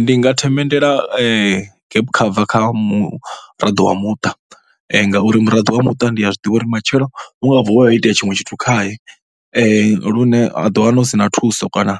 Ndi nga themendela gap cover kha muraḓo wa muṱa ngauri murado wa muṱa ndi a zwi ḓivha uri matshelo hu nga vuwa ho itea tshiṅwe tshithu khae lune ha ḓiwana hu si na thuso kana